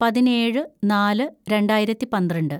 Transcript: പതിനേഴ് നാല് രണ്ടായിരത്തി പന്ത്രണ്ട്‌